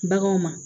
Baganw ma